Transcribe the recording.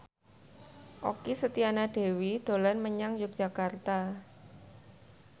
Okky Setiana Dewi dolan menyang Yogyakarta